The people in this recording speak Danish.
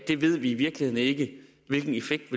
vi i virkeligheden ikke ved hvilken effekt